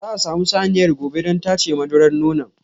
Za a samu saniyar gobe don tace madura nonon.